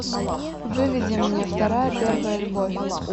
выведи мне вторая первая любовь